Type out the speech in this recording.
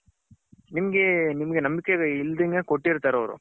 ನಿಮ್ಮಗೆ ನಿಮ್ಮಗೆ ನಂಬಿಕೆ ಇಲ್ದಂಗೆ ಕೊಟ್ಟಿರ್ತಾರೆ ಅವರು.